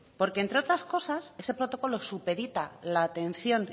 porque entre otras cosas ese protocolo supedita la atención